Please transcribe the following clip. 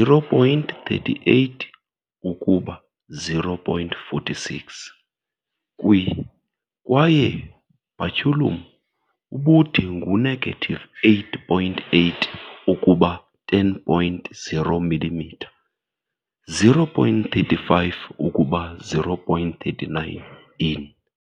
0.38 ukuba 0.46 kwi kwaye baculum ubude ngu negative 8.8 ukuba 10.0 mm 0.35 ukuba 0.39 in.